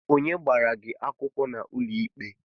Onye gbara gi akwụkwọ n'ụlọikpe?